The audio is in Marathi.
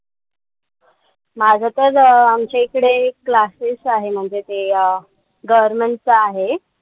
माझं तर आमच्या इकडे एक classes आहे म्हणजे ते अं government च आहे.